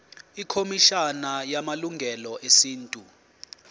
ikhomishana yamalungelo esintu